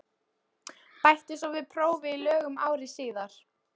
Bætti svo við prófi í lögum ári síðar.